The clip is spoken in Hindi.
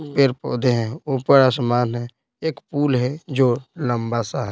पर पौधे हैं ऊपर आसमान है एक पूल है जो लंबा सा है।